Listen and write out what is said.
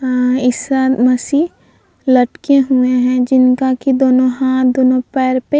अ ईसा मसी लटके हुए है। जिनका की दोनों हाथ दोनों पैर पे--